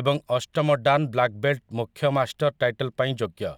ଏବଂ ଅଷ୍ଟମ dan black belt ମୁଖ୍ୟ ମାଷ୍ଟର୍ ଟାଇଟଲ୍ ପାଇଁ ଯୋଗ୍ୟ ।